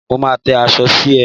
Mo máa tẹ́ aṣọ sí i.